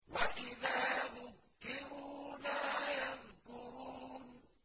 وَإِذَا ذُكِّرُوا لَا يَذْكُرُونَ